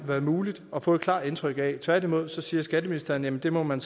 været muligt at få et klart indtryk af tværtimod siger skatteministeren at det må man